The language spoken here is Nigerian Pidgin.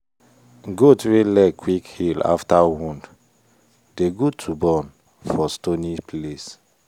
goat wey leg quick heal after wound dey good to born for stony place.